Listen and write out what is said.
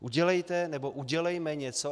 Udělejte, nebo udělejme něco.